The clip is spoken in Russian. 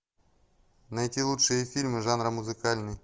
найти лучшие фильмы жанра музыкальный